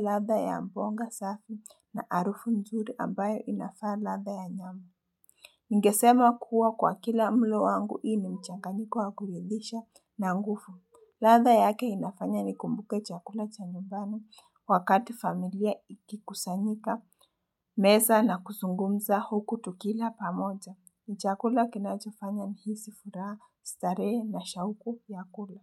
Ladha ya mbonga safi na harufu nzuri ambayo inafaa ladha ya nyama. Ningesema kuwa kwa kila mlo wangu hii ni mchanganyiko wa kuridhisha na nguvu. Ladha yake inafanya ni kumbuke chakula cha nyumbani wakati familia ikikusanyika. Meza na kuzungumza huku tukila pamoja. Ni chakula kinacho fanya nihisi furaha, starehe na shauku ya kula.